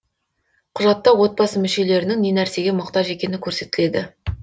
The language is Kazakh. құжатта отбасы мүшелерінің не нәрсеге мұқтаж екені көрсетіледі